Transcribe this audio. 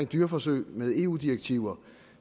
dyreforsøg med eu direktiver